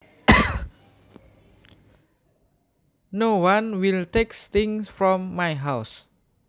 No one will take things from my house